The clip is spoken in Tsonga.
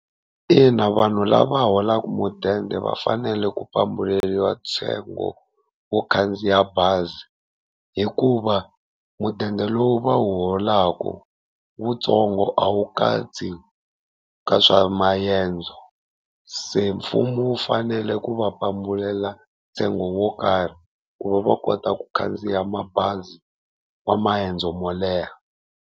Ina vanhu lava holaka mudende va fanele ku pambuleliwa ntsengo wo khandziya bazi, hikuva mudende lowu va wu holaku wutsongo a wu katsi ka swa maendzo. Se mfumo wu fanele ku va pambulela ntsengo wo karhi ku va va kota ku khandziya mabazi wa maendzo mo leha.